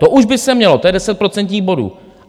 To už by se mělo, to je deset procentních bodů.